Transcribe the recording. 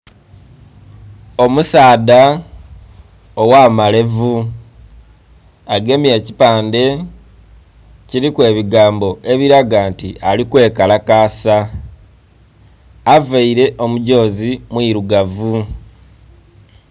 Omusaadha owamalevu agemye ekipande kiriku ebigambo ebiraga nti alikwekalakasa avaire omugyozi omwiirugavu.